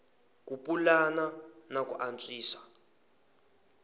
ku pulana na ku antswisa